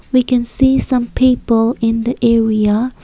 we can see some people in the area.